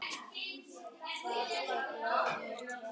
Það er yfir mér kyrrð.